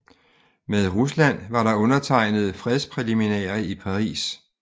Med Rusland var der undertegnet fredspræliminærer i Paris